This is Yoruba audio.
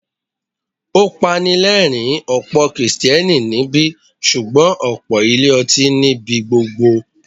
Ó pani lẹ́rìń, ọ̀pọ̀ Kristẹni níbí, ṣùgbọ́n ọ̀pọ̀ ilé ọtí ní ibi gbogbo.